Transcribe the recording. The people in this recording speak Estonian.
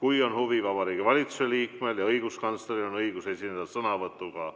kui on huvi Vabariigi Valitsuse liikmel ja õiguskantsleril, kellel on õigus esineda sõnavõtuga.